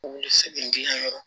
U bɛ segin diyayɔrɔ